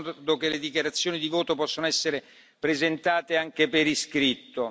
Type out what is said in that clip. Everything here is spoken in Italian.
Vi ricordo che le dichiarazioni di voto possono essere presentate anche per iscritto.